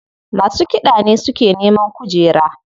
Masu kiɗa ne suke neman kujera.